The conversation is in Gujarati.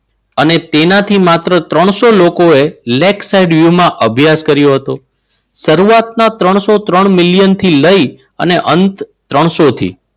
અને તેમાંથી માત્ર ત્રણસો લોકોએ lake site view માં અભ્યાસ કર્યો હતો. શરૂઆતના ત્રણસો ત્રણ મિલિયનથી લઈ અને અંત ત્રણસો થી